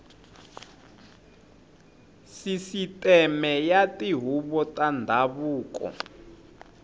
sisiteme ya tihuvo ta ndhavuko